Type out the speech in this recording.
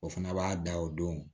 O fana b'a da o don